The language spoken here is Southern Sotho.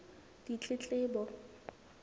ditletlebo